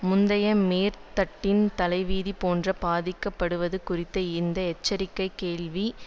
முந்தைய மேற்தட்டின் தலைவிதி போன்ற பாதிக்கப்படுவது குறித்த இந்த எச்சரிக்கை கேள்விக்கிடமின்றி மிக